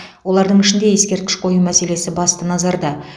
олардың ішінде ескерткіш қою мәселесі басты назарда